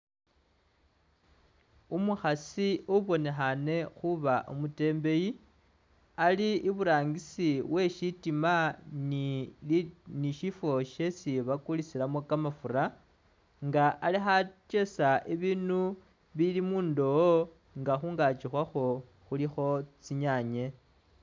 Umukhaasi ubonekhane khuba umutembeyi ali iburangisi weshitima ni shifo shesi bakulisilamo kamafura nga ali khakesa bubindu bili mundoowo nga khungaki khwakho khulikho tsinyanye